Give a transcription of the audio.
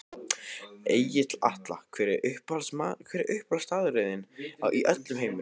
Egill Atla Hver er uppáhaldsstaðurinn þinn í öllum heiminum?